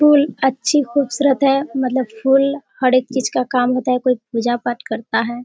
फूल अच्छी खूबसूरत है मतलब फूल हर एक चीज का काम होता है कोई पूजा पाठ करता है।